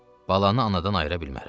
Balanı anadan ayıra bilmərəm.